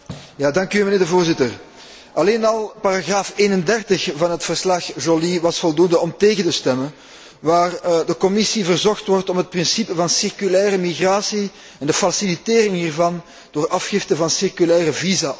Voorzitter, alleen al paragraaf 31 van het verslag Joly was voldoende om tegen te stemmen, waarin de Commissie verzocht wordt om het principe van circulaire migratie en de facilitering hiervan door afgifte van circulaire visa op te nemen.